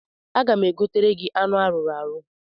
Aga m egotere gị anụ arụrụ arụ.